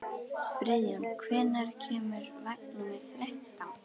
Friðjón, hvenær kemur vagn númer þrettán?